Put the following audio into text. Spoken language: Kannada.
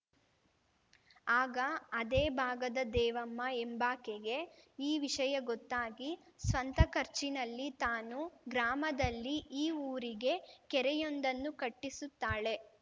ಆಗ ಅದೇ ಭಾಗದ ದೇವಮ್ಮ ಎಂಬಾಕೆಗೆ ಈ ವಿಷಯ ಗೊತ್ತಾಗಿ ಸ್ವಂತ ಖರ್ಚಿನಲ್ಲಿ ತಾನೂ ಗ್ರಾಮದಲ್ಲಿ ಈ ಊರಿಗೆ ಕೆರೆಯೊಂದನ್ನು ಕಟ್ಟಿಸುತ್ತಾಳೆ